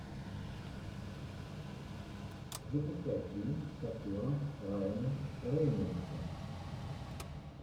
запускай фильм с актером райаном рейнольдсом